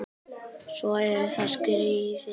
Svo eru það skíðin.